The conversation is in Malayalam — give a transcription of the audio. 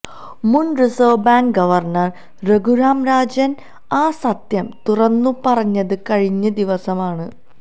മുൻ Reserve Bank governor Raghuram Rajan ആ സത്യം തുറന്നുപറഞ്ഞത് കഴിഞ്ഞ ദിവസമാണ്